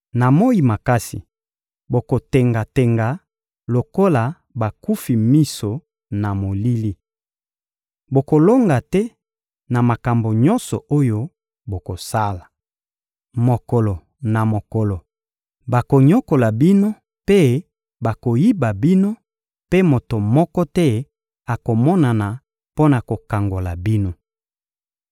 Na moyi makasi, bokotenga-tenga lokola bakufi miso na molili. Bokolonga te na makambo nyonso oyo bokosala. Mokolo na mokolo, bakonyokola bino mpe bakoyiba bino, mpe moto moko te akomonana mpo na kokangola bino.